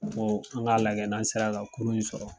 N Ko an ga lajɛ n'an sera ka kurun in sɔrɔ.